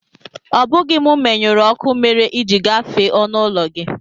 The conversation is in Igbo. Ọ bụghị m menyụrụ ọkụ mere i ji gafee ọnụụlọ gị